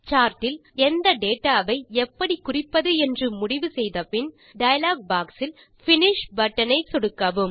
சார்டில் எந்த டேட்டா ஐ எப்படி குறிப்பது என்று முடிவு செய்தபின் டயலாக் பாக்ஸ் இல் பினிஷ் பட்டன் ஐ சொடுக்கவும்